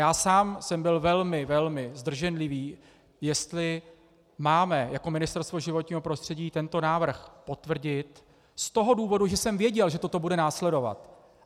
Já sám jsem byl velmi, velmi zdrženlivý, jestli máme jako Ministerstvo životního prostředí tento návrh potvrdit z toho důvodu, že jsem věděl, že toto bude následovat.